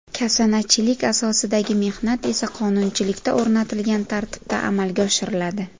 Kasanachilik asosidagi mehnat esa qonunchilikda o‘rnatilgan tartibda amalga oshiriladi.